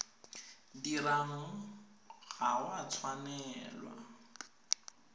dirwang ga o a tshwanela